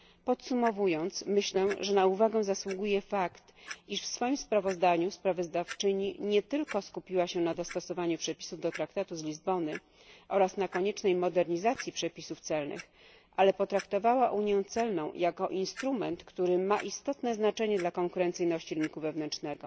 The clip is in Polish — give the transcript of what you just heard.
Podsumowując, myślę, że na uwagę zasługuje fakt, iż w swoim sprawozdaniu sprawozdawczyni nie tylko skupiła się na dostosowaniu przepisów do Traktatu z Lizbony oraz na koniecznej modernizacji przepisów celnych, lecz również potraktowała unię celną jako instrument, który ma istotne znaczenie dla konkurencyjności rynku wewnętrznego.